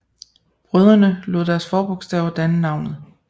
Brødrene lod deres forbogstaver danne navnet